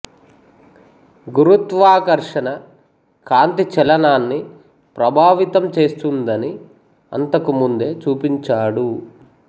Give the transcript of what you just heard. గురుత్వాకర్షణ కాంతి చలనాన్ని ప్రభావితం చేస్తుందని అంతకు ముందే చూపించాడు